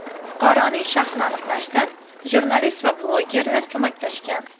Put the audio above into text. Fuqaroning shaxsini aniqlashda jurnalist va blogerlar ko‘maklashgan.